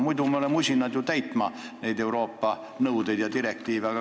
Muidu me oleme alati usinad täitma Euroopa nõudeid ja direktiive.